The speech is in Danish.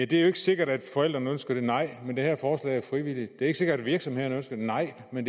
det er ikke sikkert at forældrene ønsker det nej men det her forslag er frivilligt det er ikke sikkert at virksomhederne ønsker det nej men